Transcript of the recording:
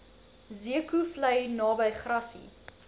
zeekoevlei naby grassy